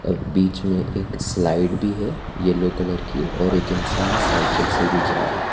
और बीच में एक स्लाइड भी है येलो कलर की और एक इंसान साइकल से भी जा रहा है।